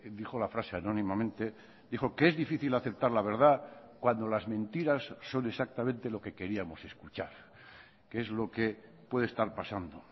dijo la frase anónimamente dijo que es difícil aceptar la verdad cuando las mentiras son exactamente lo que queríamos escuchar que es lo que puede estar pasando